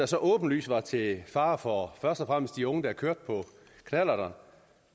så åbenlyst var til fare for først og fremmest de unge der kørte på knallerter